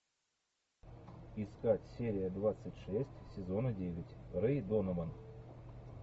искать серия двадцать шесть сезона девять рэй донован